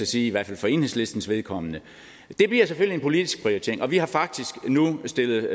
sige i hvert fald for enhedslistens vedkommende det bliver selvfølgelig en politisk prioritering og vi har faktisk nu stillet